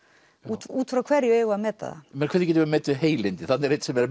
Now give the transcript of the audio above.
út frá hverju eigum við að meta það hvernig getum við metið heilindi þarna er einn sem er